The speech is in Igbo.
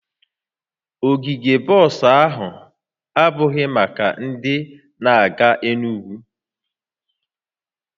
Ogige bọs ahụ abụghị maka ndị na-aga Enugwu